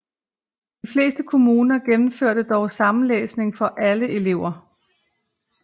De fleste kommuner gennemførte dog samlæsning for alle elever